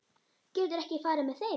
Geturðu ekki farið með þeim?